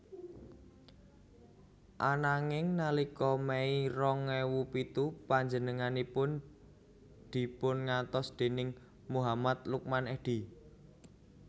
Ananging nalika Mei rong ewu pitu panjenenganipun dipungantos déning Muhammad Lukman Edy